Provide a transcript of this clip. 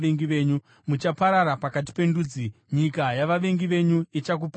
Muchaparara pakati pendudzi; nyika yavavengi venyu ichakuparadzai.